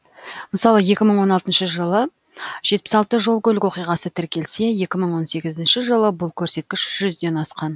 мысалы екі мың он алтыншы жылы жетпіс алты жол көлік оқиғасы тіркелсе екі мың он сегізінші жылы бұл көрсеткіш жүзден асқан